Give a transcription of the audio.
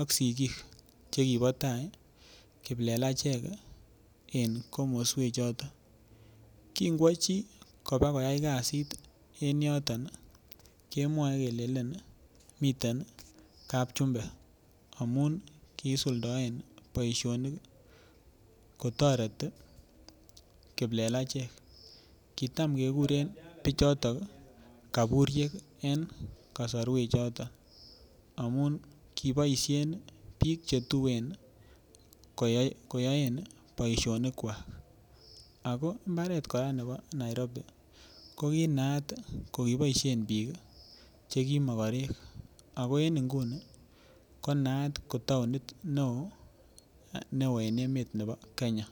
ak sikiik chekibo tai kiplelachek en komoswek choton kingwo chi kobokoyai kasit en yoton kemwoe kelelen miten kap chumba amun kisuldaen boishonik kotoreti kiplelachek kitam kekuren biichotok kakuriek en kosorwek choton amun kiboishen biik chetuen koyoen boishonik kwach ako mbaret kora nebo Nairobi ko konayat kikiboishe biik chekimokorek ako en nguni konaat ko taonit neo en emet nebo Kenya.